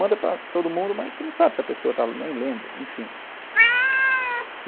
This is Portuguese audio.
Manda para todo mundo, mas você não sabe se a pessoa está nem lendo, enfim.